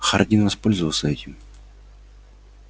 хардин воспользовался этим